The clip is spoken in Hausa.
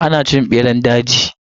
Ana cin beran daji.